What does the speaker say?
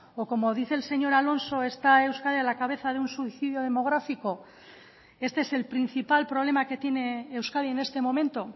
o como dice el señor alonso está euskadi a la cabeza de un suicidio demográfico este es el principal problema que tiene euskadi en este momento